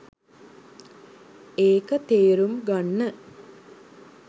ඒක තේරුම් ගන්න